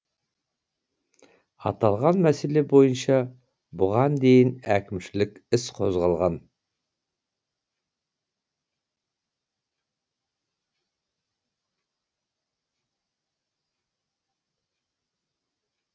аталған мәселе бойынша бұған дейін әкімшілік іс қозғалған